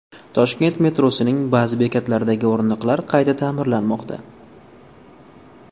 Toshkent metrosining ba’zi bekatlaridagi o‘rindiqlar qayta ta’mirlanmoqda.